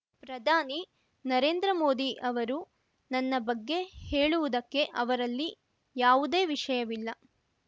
ಪ್ರಧಾನಿ ನರೇಂದ್ರ ಮೋದಿ ಅವರು ನನ್ನ ಬಗ್ಗೆ ಹೇಳುವುದಕ್ಕೆ ಅವರಲ್ಲಿ ಯಾವುದೇ ವಿಷಯವಿಲ್ಲ